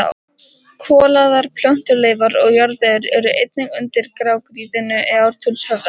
Kolaðar plöntuleifar og jarðvegur eru einnig undir grágrýtinu í Ártúnshöfða.